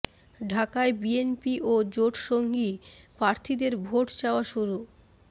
ঢাকায় বিএনপি ও জোট সঙ্গী প্রার্থীদের ভোট চাওয়া শুরু